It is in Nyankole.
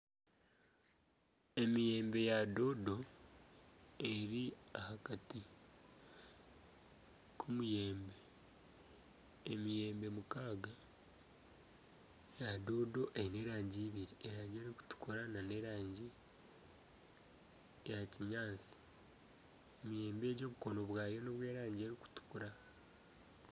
Emiyembe ya doodo, eri aha kati k'omuyembe, emiyembe mukaaga ya doodo erangi ibiri, erikutukura nana erangi ya kinyatsi emiyembe egi obukono bwayo n'obw'erangi erikutukura.